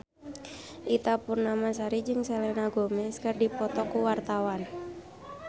Ita Purnamasari jeung Selena Gomez keur dipoto ku wartawan